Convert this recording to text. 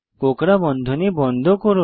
কোঁকড়া বন্ধনী বন্ধ করুন